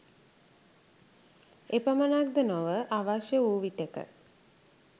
එපමණක් ද නොව අවශ්‍ය වූ විටෙක